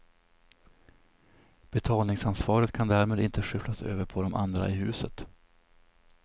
Betalningsansvaret kan därmed inte skyfflas över på de andra i huset.